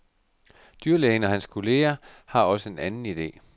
Dyrlægen og hans kollega har også en anden ide.